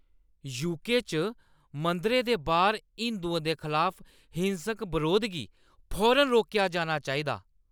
UK च मंदरें दे बाह्‌र हिंदुएं दे खलाफ हिंसक बरोध गी फौरन रोकेआ जाना चाहिदा ।